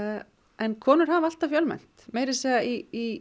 en konur hafa alltaf fjölmennt meira að segja í